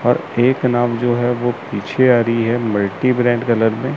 और एक नाम जो है वो पीछे आ रही है मल्टी ब्रैंड कलर में--